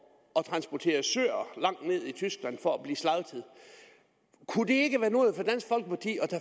at transportere søer langt ned i tyskland for at blive slagtet kunne det ikke være noget at